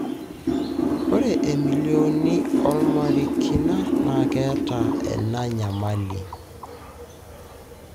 Ore emillionini olamerikani na keeta ena nyamali.